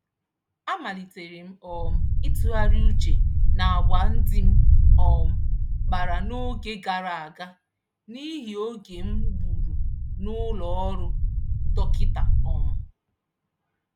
A maliterem um ịtụgharị uche n'àgwà ndị m um kpara n'oge gàrà aga, n'ihi oge m gbùrù n'ụlọ ọrụ dọkịta um